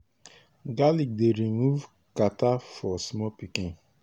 garlic dey remove catarrh for small pikin.